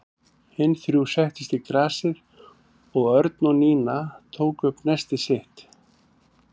Hin þrjú settust í grasið og Örn og Nína tóku upp nestið sitt.